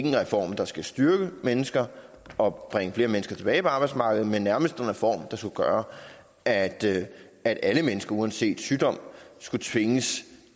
en reform der skal styrke mennesker og bringe flere mennesker tilbage på arbejdsmarkedet men nærmest en reform der skulle gøre at at alle mennesker uanset sygdom skulle tvinges